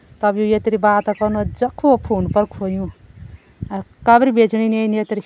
तब व यत्री बात कनु जख हो फ़ोन पर खोयुं अर कबरी बेचण येन यत्री।